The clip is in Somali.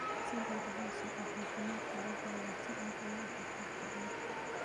Si dhow ula soco caafimaadka digaagga si aad uga hortagto cudurka.